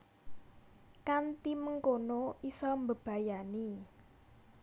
Kanthi mengkono isa mbebayani